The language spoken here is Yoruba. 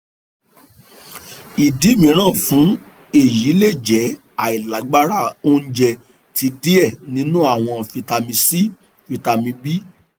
idi miiran fun eyi le jẹ ailagbara ounjẹ ti diẹ ninu awọn vitamin c vitamin b